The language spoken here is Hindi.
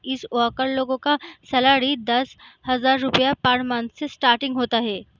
इस वर्कर लोगो का सैलरी दस हजार रुपया पर मंथ से स्टार्टिंग होता है।